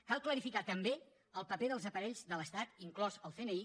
cal clarificar també el paper dels aparells de l’estat inclòs el cni